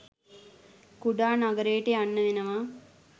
කුඩා නගරයට යන්න වෙනවා.